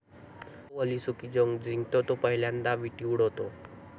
जो ओलीसुकी जिंकतो तो पहिल्यांदा विट्टी उडवतो.